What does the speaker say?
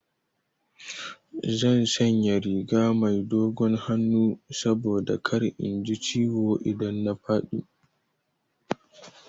Zan sanya riga mai dogon hannu saboda kar in ji ciwo idan na faɗi.